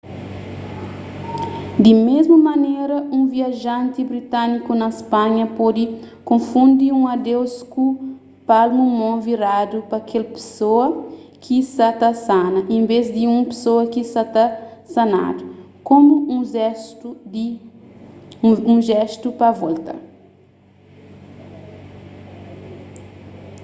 di mésmu manera un viajanti britániku na spanha pode konfundi un adeuz ku palmu mon viradu pa kel pesoa ki sa ta sana enves di un pesoa ki sa ta sanadu komu un jéstu pa volta